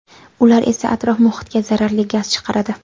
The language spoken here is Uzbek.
Ular esa atrof-muhitga zaharli gaz chiqaradi.